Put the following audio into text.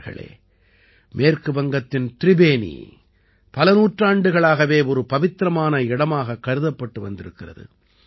நண்பர்களே மேற்கு வங்கத்தின் திரிபேனி பல நூற்றாண்டுகளாகவே ஒரு பவித்திரமான இடமாகக் கருதப்பட்டு வந்திருக்கிறது